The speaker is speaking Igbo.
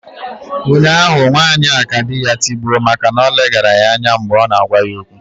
Ụnyahụ nwanyị a ka di ya tigbuo maka na o leghaara ya anya mgbe ọ na-agwa ya okwu